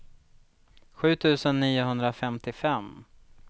sju tusen niohundrafemtiofem